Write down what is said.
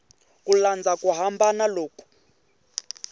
ku landza ku hambana loku